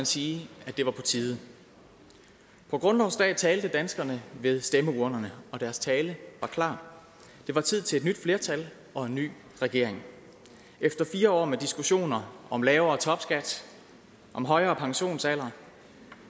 sige at det var på tide på grundlovsdag talte danskerne ved stemmeurnerne og deres tale var klar det var tid til et nyt flertal og en ny regering efter fire år med diskussioner om lavere topskat om højere pensionsalder